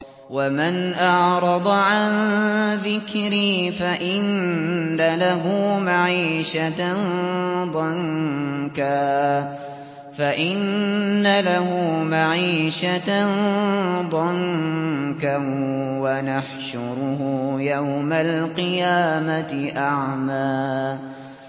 وَمَنْ أَعْرَضَ عَن ذِكْرِي فَإِنَّ لَهُ مَعِيشَةً ضَنكًا وَنَحْشُرُهُ يَوْمَ الْقِيَامَةِ أَعْمَىٰ